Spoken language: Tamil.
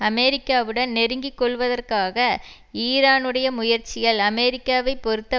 அமெரிக்காவுடன் நெருங்கி கொள்வதற்காக ஈரானுடைய முயற்சிகள் அமெரிக்காவை பொறுத்த